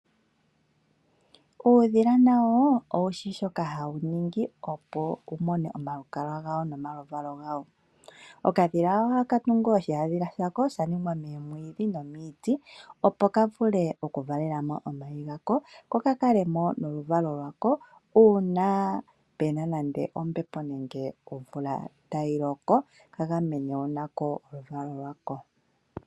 Uudhila nawo owushi shoka hawuningi opo wumone omalukalwa gawo nomaluvalo gawo ,okadhila ohaka tungu shiyadhila shako shaningwa memwidhi nomiiti opo kavule okuvalelamo omayi gako kokakalemo noluvalwo lwako uuna pena ombepo nenge omvula tayiloko kagamene nako noluvalwo lwako.